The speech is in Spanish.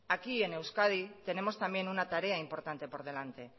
aquí en euskadi tenemos también una tarea importante por delante